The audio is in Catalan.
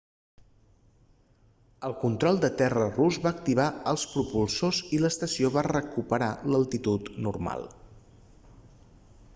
el control de terra rus va activar els propulsors i l'estació va recuperar l'altitud normal